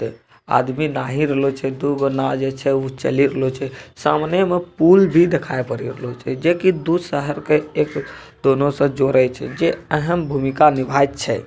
आदमी नाही रहलो छै | दू गो नाओ जे छे उ चली गेलो छै | सामने में पुल भी देखाई पड़े गेलौ छै जे की दू शहर के एक दोनों से जोड़ी छै जे अहम् भूमिका निभाई छै |